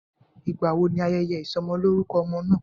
Ìgbà wo ni ayẹyẹ ìsọmọlórúkọ ọmọ náà?